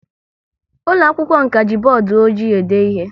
Ụlọ akwụkwọ m ka ji bọọdụ ọjị e de ihe